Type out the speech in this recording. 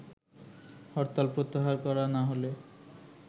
হরতাল প্রত্যাহার করা না হলে